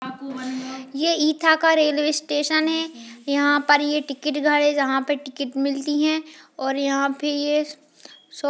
ये इटाह का railway station है यहाँ पे टिकट घर है जहाँ पे टिकट मिलती हैं और यहाँ पर ये श --